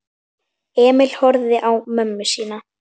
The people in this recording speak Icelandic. Emil horfði á mömmu sína.